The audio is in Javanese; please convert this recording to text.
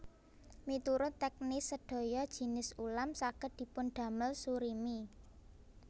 Miturut teknis sedaya jinis ulam saged dipundamel surimi